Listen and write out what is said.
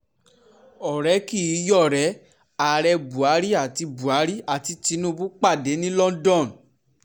ọ̀rẹ́ kì í yọ̀rẹ́ ààrẹ buhari àti buhari àti tinubu pàdé ní london